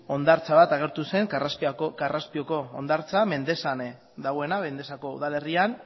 hondartza bat agertu zen karraspioko hondartza mendexan dagoena mendexako udalerrian